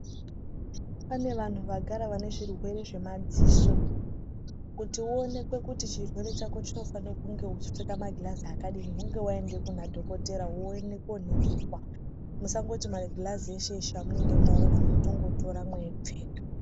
Pane vanhu vagara vane zvirwere zvemadziso kuti uonekwe kuti chirwere chako chinofane kunge uchipfeka magirazi akadini kunge waenda kuna dhokotera woende koningirwa ,musangoti magirazi eshe eshe amunenge maona motongotora mweipfeka.